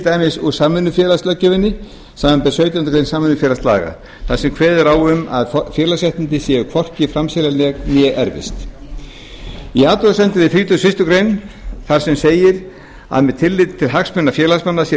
dæmis úr samvinnufélagalöggjöfinni samanber sautjándu grein samvinnufélagalaga þar sem kveðið er á um að félagsréttindi séu hvorki framseljanleg né erfist í athugasemdum við þrítugustu og fyrstu grein þar sem segir að með tilliti til hagsmuna félagsmanna sé